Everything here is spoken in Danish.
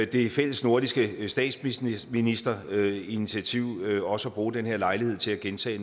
det fællesnordiske statsministerinitiativ også at bruge den lejlighed til at gentage